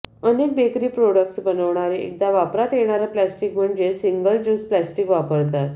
अनेक bakery products बनवणारे एकदा वापरात येणारं प्लास्टिक म्हणजेच सिंगल ज्युस प्लास्टिक वापरतात